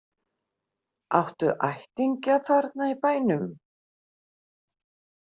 Áttu ættingja þarna í bænum?